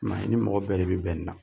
I ma i ni mɔgɔ bɛɛ de bɛ bɛn in na